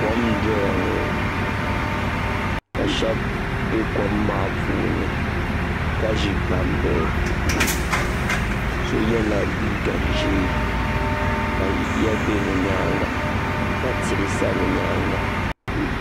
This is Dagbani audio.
Kom n-doya ŋɔ ka shɛba be kom maa puuni ka ʒi gbambihi so yela liiga ʒee ka yiya be bɛ nyaaŋa ka tihi sa bɛ nyaaŋa.